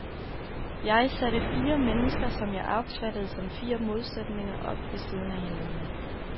Jeg satte fire mennesker, som jeg opfattede som fire modsætninger, op ved siden af hinanden.